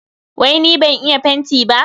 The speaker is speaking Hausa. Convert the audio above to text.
Wai ni ban iya fenti ba?